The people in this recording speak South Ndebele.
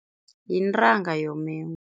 Yintanga yomengu.